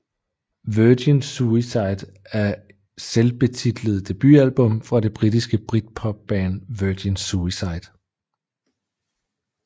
Virgin Suicide er selvbetitlede debutalbum fra det danske britpopband Virgin Suicide